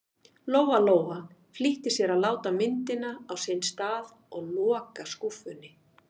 Lóa-Lóa flýtti sér að láta myndina á sinn stað og loka skúffunni.